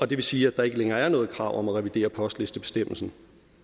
det vil sige at der ikke længere er noget krav om at revidere postlistebestemmelsen